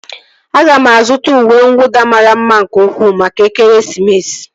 Aga m azụta uwe nwụda mara mma nke ukwuu maka ekeresimesi